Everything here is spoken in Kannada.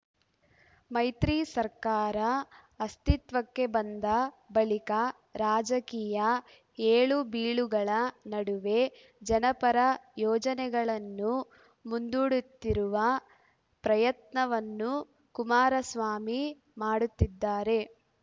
ಮೈತ್ರಿ ಸರ್ಕಾರ ಅಸ್ತಿತ್ವಕ್ಕೆ ಬಂದ ಬಳಿಕ ರಾಜಕೀಯ ಏಳುಬೀಳುಗಳ ನಡುವೆ ಜನಪರ ಯೋಜನೆಗಳನ್ನು ಮುಂದುಡುತ್ತಿರುವ ಪ್ರಯತ್ನವನ್ನು ಕುಮಾರಸ್ವಾಮಿ ಮಾಡುತ್ತಿದ್ದಾರೆ